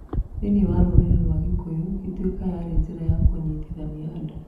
Thĩinĩ wa rũrĩrĩ rwa Gĩkũyũ, Ituĩka yarĩ njĩra ya kũnyitithania andũ.